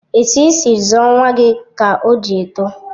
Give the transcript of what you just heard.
Etu isi zụọ nwa gị ka o ji etọ.